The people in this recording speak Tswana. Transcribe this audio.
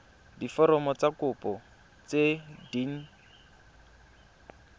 diforomo tsa kopo tse dint